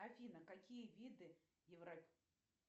афина какие виды